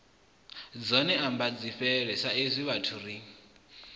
dzone ambadzifhele saizwi vhathu ri